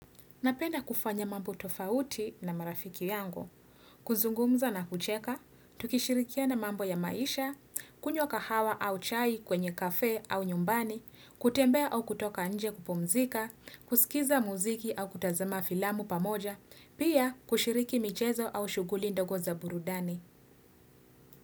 Napenda kufanya mambo tofauti na marafiki yangu. Kuzungumza na kucheka, tukishirikiana mambo ya maisha, kunywa kahawa au chai kwenye cafe au nyumbani, kutembea au kutoka nje kupumzika, kusikiza muziki au kutazama filamu pamoja, pia kushiriki michezo au shughuli ndogo za burudani.